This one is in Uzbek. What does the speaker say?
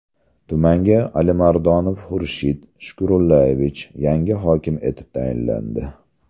Tumanga Alimardonov Xurshid Shukurullayevich yangi hokim etib tayinlandi.